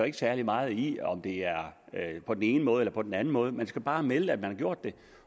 ikke særlig meget i om det er på den ene måde eller på den anden måde man skal bare melde at man har gjort det